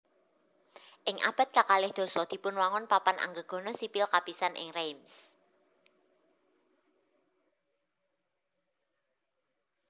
Ing abad kakalih dasa dipunwangun papan anggegana sipil kapisan ing Reims